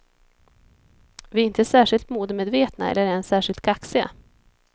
Vi är inte särskilt modemedvetna eller ens särskilt kaxiga.